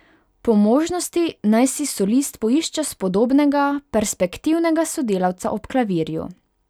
Po možnosti naj si solist poišče spodobnega, perspektivnega sodelavca ob klavirju.